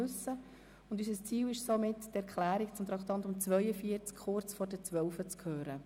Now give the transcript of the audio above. Unser Ziel ist es, die Erklärung zum Traktandum 42 noch kurz vor dem Mittag zu hören.